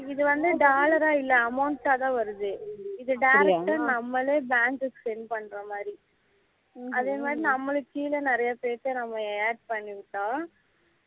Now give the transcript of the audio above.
இது வந்து dollar ஆ இல்லாம amount ஆ தான் வருது இது direct நம்மலே bank send பண்ணுற மாதிரி அதே மாதிரி நம்மளுக்கு கீழ நிறைய பேர்த்த நம்ம add பண்ணி விட்டோம்